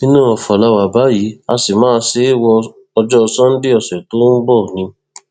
inú ọfọ la wà báyìí a sì máa ṣe é wo ọjọ sannde ọsẹ tó ń bọ ni